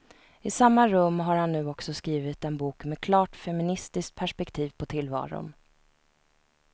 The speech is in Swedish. I samma rum har han nu också skrivit en bok med klart feministiskt perspektiv på tillvaron.